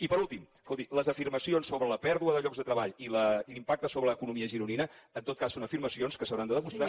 i per últim escolti les afirmacions sobre la pèrdua de llocs de treball i l’impacte sobre l’economia gironina en tot cas són afirmacions que s’hauran de demostrar